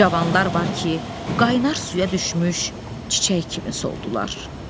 Cavanlar var ki, qaynar suya düşmüş çiçək kimi soldular.